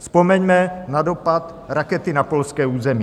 Vzpomeňme na dopad rakety na polské území.